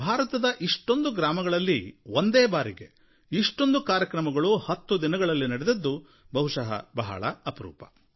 ಭಾರತದ ಇಷ್ಟೊಂದು ಗ್ರಾಮಗಳಲ್ಲಿ ಒಂದೇ ಬಾರಿಗೆ ಇಷ್ಟೊಂದು ಕಾರ್ಯಕ್ರಮಗಳು ಹತ್ತು ದಿನಗಳಲ್ಲಿ ನಡೆದಿದ್ದು ಬಹುಶಃ ಬಹಳ ಅಪರೂಪ